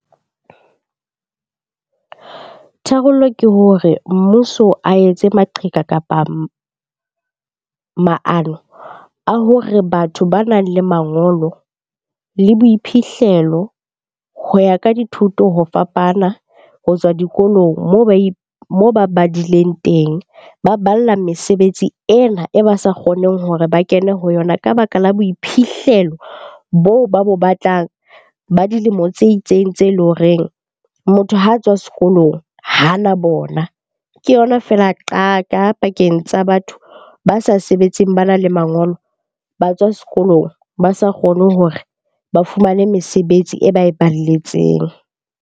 Tharollo ke hore mmuso a etse maqheka kapa maano a hore batho banang le mangolo le boiphihlelo ho ya ka dithuto ho fapana ho tswa dikolong moo ba moo ba badileng teng. Ba balla mesebetsi ena e ba sa kgoneng hore ba kene ho yona ka baka la boiphihlelo boo ba bo batlang ba dilemo tse itseng tse leng horeng motho ha a tswa sekolong hana bona. Ke yona feela qaka pakeng tsa batho ba sa sebetseng bana le mangolo, ba tswa sekolong, ba sa kgone hore ba fumane mesebetsi e ba e balletseng.